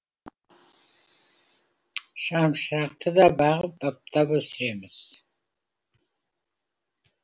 шамшырақты да бағып баптап өсіреміз